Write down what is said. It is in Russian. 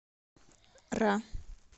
ра